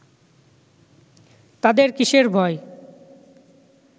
তাদের কিসের ভয়